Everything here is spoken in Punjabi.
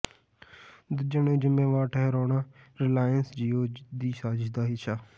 ਦੂਜਿਆਂ ਨੂੰ ਜ਼ਿੰਮੇਵਾਰ ਠਹਿਰਾਉਣਾ ਰਿਲਾਇੰਸ ਜਿਓ ਦੀ ਸਾਜ਼ਿਸ਼ ਦਾ ਹਿੱਸਾ